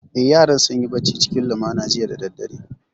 Eh, yaran sun yi bacci cikin lumana jiya da daddare